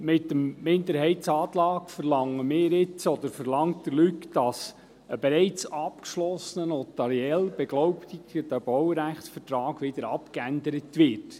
Mit dem Minderheitsantrag verlangen wir, oder verlangt Luc Mentha, dass ein bereits abgeschlossener, notariell beglaubigter Baurechtsvertrag wieder abgeändert wird.